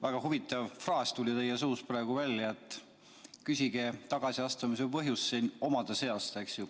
Väga huvitav fraas tuli teie suust praegu välja – see, et küsige tagasiastumise põhjust siin omade käest.